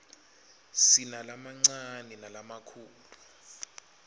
sinalamancane nalamakhulu